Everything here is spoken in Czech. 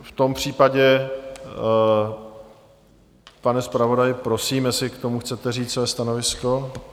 V tom případě, pane zpravodaji, prosím, jestli k tomu chcete říct své stanovisko.